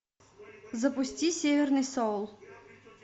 запусти северный соул